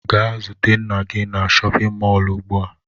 Gaa zute nna gi na chọpịn mọọlụ ugbua!